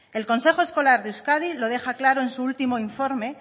el consejo escolar de euskadi lo deja claro en su último informe